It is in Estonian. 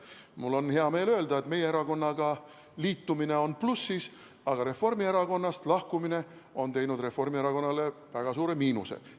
Mul on hea meel öelda, et meie erakond on plussis, aga Reformierakonnast lahkumine on tekitanud Reformierakonnale väga suure miinuse.